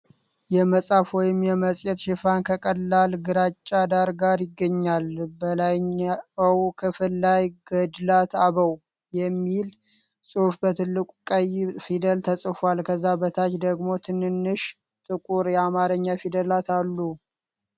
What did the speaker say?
የመጽሐፍ ወይም የመጽሔት ሽፋን ከቀላል ግራጫ ዳራ ጋር ይገኛል። በላይኛው ክፍል ላይ "ገድላት አበው" የሚል ጽሑፍ በትልቅ ቀይ ፊደላት ተጽፏል። ከዛ በታች ደግሞ ትንንሽ ጥቁር የአማርኛ ፊደላት አሉ።